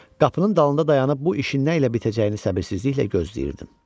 Qapının dalında dayanıb bu işin nə ilə bitəcəyini səbirsizliklə gözləyirdim.